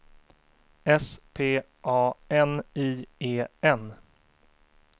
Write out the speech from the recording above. S P A N I E N